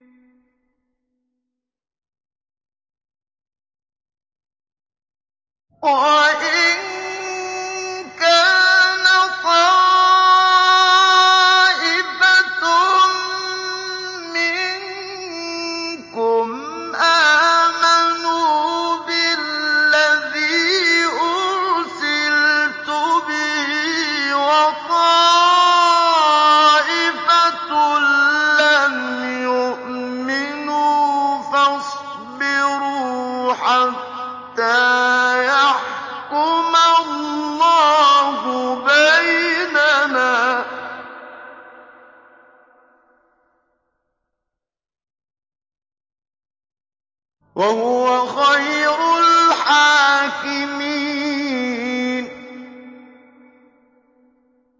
وَإِن كَانَ طَائِفَةٌ مِّنكُمْ آمَنُوا بِالَّذِي أُرْسِلْتُ بِهِ وَطَائِفَةٌ لَّمْ يُؤْمِنُوا فَاصْبِرُوا حَتَّىٰ يَحْكُمَ اللَّهُ بَيْنَنَا ۚ وَهُوَ خَيْرُ الْحَاكِمِينَ